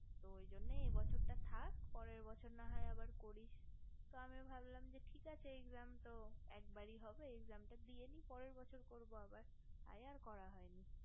তো ওই জন্যই এই বছরটা থাক পরের বছর না হয় আবার করিস তো আমি ভাবলাম যে ঠিক আছে exam তো একবারই হবে exam তা দিয়ে নেই পরের বছর করবো আবার তাই আর করা হয়নি